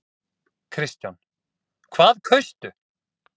Kristján: Hvað kaustu?